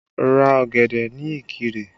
Ra ọ̀gẹ̀dẹ̀ ní Ikire!